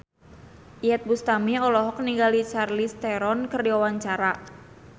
Iyeth Bustami olohok ningali Charlize Theron keur diwawancara